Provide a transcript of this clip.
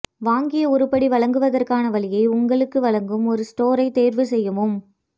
வாங்கிய உருப்படி வழங்குவதற்கான வழியை உங்களுக்கு வழங்கும் ஒரு ஸ்டோரைத் தேர்வுசெய்யவும்